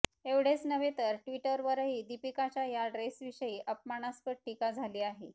एवढेच नव्हे तर ट्विटरवरही दीपिकाच्या या ड्रेसविषयी अपमानास्पद टीका झाली आहे